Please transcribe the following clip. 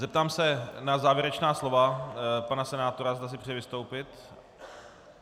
Zeptám se na závěrečná slova pana senátora, zda si přeje vystoupit.